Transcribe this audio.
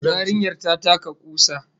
Yarinyar ta taka kusa